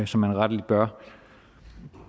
som man rettelig bør